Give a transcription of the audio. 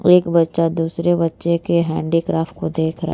एक बच्चा दूसरे बच्चे के हैंडीक्राफ्ट को देख रा --